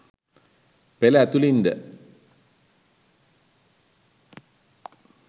පෙළ ඇතුළින් ද